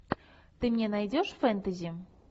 ты мне найдешь фэнтези